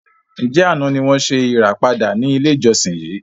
Ǹjẹ́ àná ni wọn ṣe ìràpadà ni ilé ìjọsìn yìí?